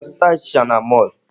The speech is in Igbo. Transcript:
Ị ga-azụta achịcha n'mọlụ?